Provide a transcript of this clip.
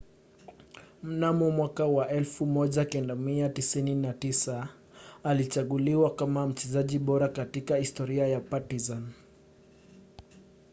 mnamo 1995 alichaguliwa kama mchezaji bora katika historia ya partizan